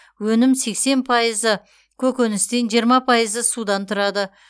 өнім сексен пайызы көкөністен жиырма пайызы судан тұрады